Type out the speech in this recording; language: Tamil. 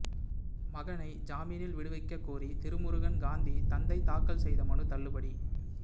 மகனை ஜாமீனில் விடுவிக்கக் கோரி திருமுருகன் காந்தி தந்தை தாக்கல் செய்த மனு தள்ளுபடி